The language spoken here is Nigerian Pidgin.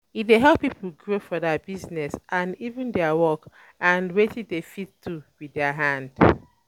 E de help pipo grow for their business and um even their work um and um wetin dem fit do with their hand